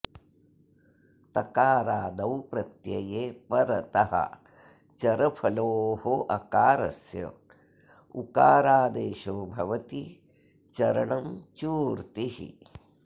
तकारादौ प्रत्यये परतः चरफलोः अकारस्य उकारादेशो भवति चरणं चूर्तिः